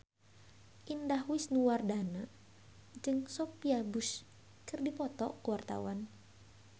Indah Wisnuwardana jeung Sophia Bush keur dipoto ku wartawan